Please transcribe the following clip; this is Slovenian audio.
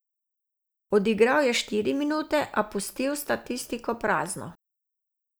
Odigral je štiri minute, a pustil statistiko prazno.